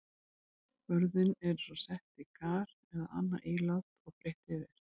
Börðin eru svo sett í kar eða annað ílát og breitt yfir.